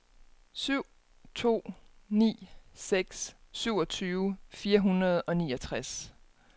syv to ni seks syvogtyve fire hundrede og niogtres